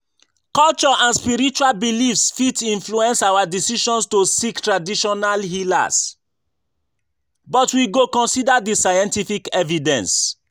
Culture and spiritual beliefs fit influence our decisions to seek traditional healers, but we go consider di scientific evidence.